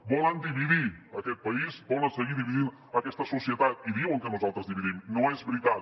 volen dividir aquest país volen seguir dividint aquesta societat i diuen que nosaltres dividim no és veritat